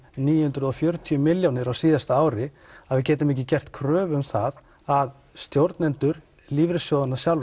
níu hundruð og fjörutíu milljónir á síðasta ári að við getum ekki gert kröfu um það að stjórnendur lífeyrissjóðanna sjálfra